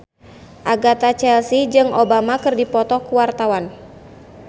Agatha Chelsea jeung Obama keur dipoto ku wartawan